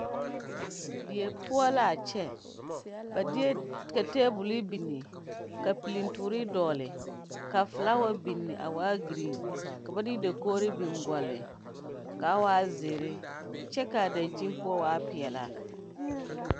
die poʊ la a kyɛ. ba deɛ ka tabule bini ka pulintuore dogle ka folawa bini a waa green. ka ba de dakoɔre bin goɔle kaa waa ziere kyɛ ka a dankyen poʊ waa pɛɛlaa